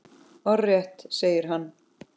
Orðrétt segir hann